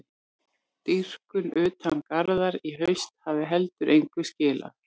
Dýpkun utan garða í haust hafi heldur engu skilað.